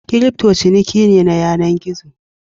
Kirifto ciniki ne na yanan gizo.